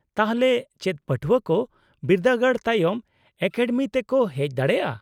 -ᱛᱟᱦᱚᱞᱮ ᱪᱮᱫ ᱯᱟᱹᱴᱷᱣᱟᱹ ᱠᱚ ᱵᱤᱨᱫᱟᱹᱜᱟᱲ ᱛᱟᱭᱚᱢ ᱮᱠᱟᱰᱮᱢᱤᱛᱮᱠᱚ ᱦᱮᱪ ᱫᱟᱲᱮᱭᱟᱜᱼᱟ ?